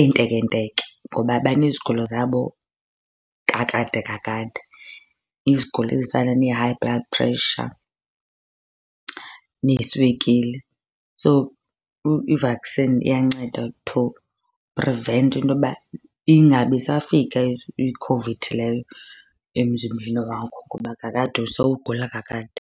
entekenteke ngoba banezigulo zabo kakade kakade. Izigulo ezifana nee-high blood pressure neeswekile. So, i-vaccine iyanceda to prevent intoba ingabisafika iCOVID leyo emzimbeni wakho ngoba kakade sowugula kakade.